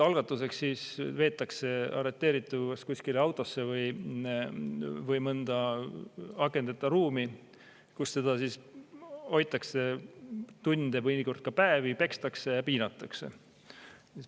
Algatuseks veetakse arreteeritud kuskile autosse või või mõnda akendeta ruumi, kus neid hoitakse tunde või mõnikord päevi, pekstakse ja piinatakse.